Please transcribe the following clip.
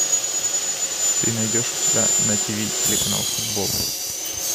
ты найдешь у себя на тиви телеканал футбол